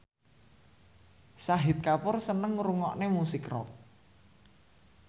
Shahid Kapoor seneng ngrungokne musik rock